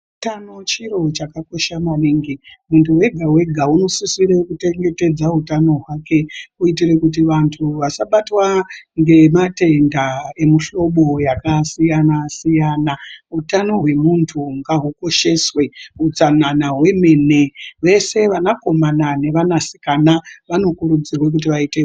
Utano chiro chakakosha maningi. Muntu wega-wega unosisire kuchengetedza utano hwake kuitire kuti vantu vasabatwa ngematenda emihlobo yakasiyana-siyana. Utano hwemuntu ngahwukosheswe, utsanana hwemene. Vese vanakomana nevanasikana vanokurudzirwa kuti vaite..